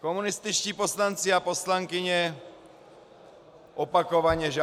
Komunističtí poslanci a poslankyně opakovaně žádají -